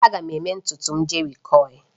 Aga m eme ntutu m jerikoil